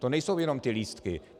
To nejsou jenom ty lístky.